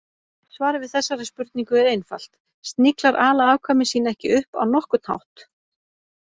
Svarið við þessari spurningu er einfalt: Sniglar ala afkvæmi sín ekki upp á nokkurn hátt.